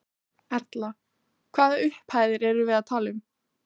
Erla: Hvaða upphæðir erum við þá að tala um?